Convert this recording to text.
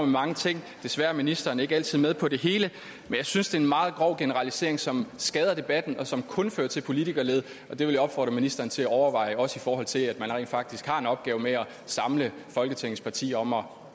mange ting desværre er ministeren ikke altid med på det hele men jeg synes det er en meget grov generalisering som skader debatten og som kun fører til politikerlede det vil jeg opfordre ministeren til at overveje også i forhold til at man rent faktisk har en opgave med at samle folketingets partier om om